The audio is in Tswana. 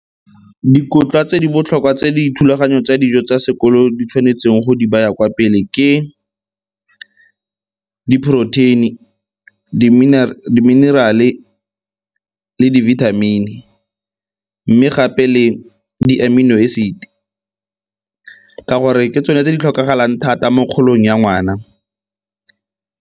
Dikotla tse di botlhokwa tse dithulaganyo tsa dijo tsa sekolo di tshwanetseng go di baya kwa pele ke di poroteini, di-mineral-e le di-vitamin-e. Mme gape le di-amino acid-e ka gore ke tsone tse di tlhokagalang thata mo kgolong ya ngwana.